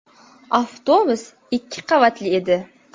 Avtobus ikki qavatli edi.